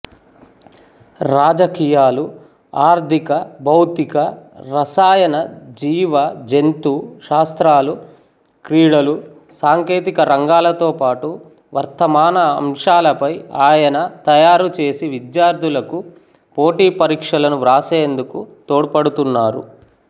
రాజకీయాలు ఆర్థికభౌతికరసాయనజీవజంతు శాస్త్రాలుక్రీడలు సాంకేతిక రంగాలతో పాటు వర్తమాన అంశాలపై ఆయన తయారుచేసి విద్యార్థులకు పోటీపరీక్షలను వ్రాసేందుకు తోడ్పడుతున్నారు